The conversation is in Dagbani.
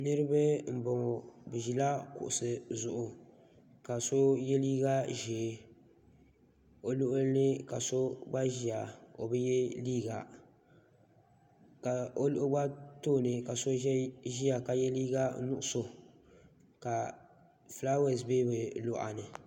Niriba m boŋɔ bɛ ʒila kuɣusi zuɣu ka so ye liiga ʒee o luɣuli ka so gba ʒia o bi ye liiga ka o gba tooni so ʒia ka ye liiga nuɣuso ka filaawaasi be bɛ luɣa ni.